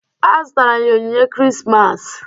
A zụtara m ya onyinye Krismas.